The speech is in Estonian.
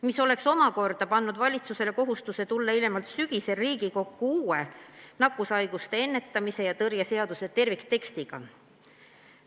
See oleks pannud valitsusele kohustuse tulla hiljemalt sügisel Riigikokku uue nakkushaiguste ennetamise ja tõrje seaduse terviktekstiga.